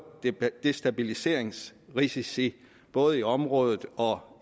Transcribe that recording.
destabiliseringsrisici både i området og